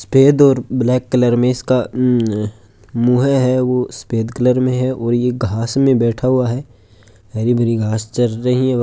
सफ़ेद और black colour में इसका मुँह है वो सफ़ेद कलर में है और ये घास में बैठा हुआ है हरी भरी घास चर रहे है।